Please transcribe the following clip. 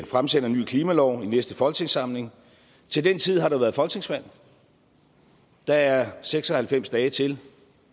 fremsætter en ny klimalov i næste folketingssamling til den tid har der været folketingsvalg der er seks og halvfems dage til